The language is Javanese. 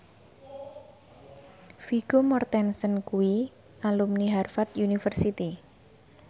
Vigo Mortensen kuwi alumni Harvard university